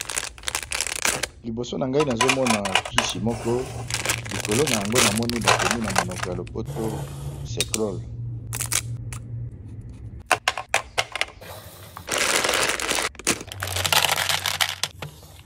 Liboso na ngai nazo mona kisi moko likolo n'ango na moni ba komi na monoko ya lopoto cecrole .